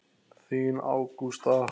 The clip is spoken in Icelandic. Þín Ágústa.